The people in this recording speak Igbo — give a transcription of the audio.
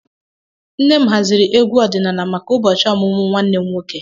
Nne m haziri egwu ọdịnala maka ụbọchị ọmụmụ nwanne m nwoke